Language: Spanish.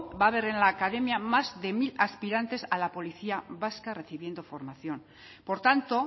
va a haber en la academia más de mil aspirantes a la policía vasca recibiendo formación por tanto